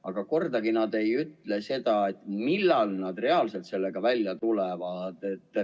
Aga kunagi nad ei ütle, millal nad reaalselt sellega välja tulevad.